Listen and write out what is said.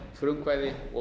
frumkvæði og